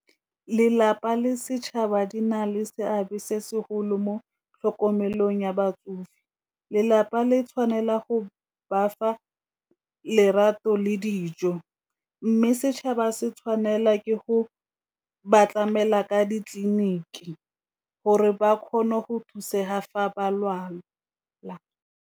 Lelapa le setšhaba di na le seabe se segolo mo tlhokomelong ya batsofe, lelapa le tshwanela go bafa lerato le dijo mme setšhaba se tshwanela ke go ba tlamela ka ditleliniki gore ba kgone go thusega fa ba lwala.